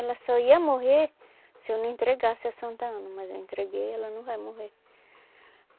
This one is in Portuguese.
Ela só ia morrer se eu não entregasse a Santa Ana, mas eu entreguei, ela não vai morrer.